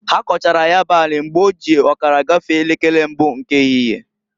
Ha kọchara ya bụ ani mgbe oji ọkara gafee elekere mbụ nke ehihie.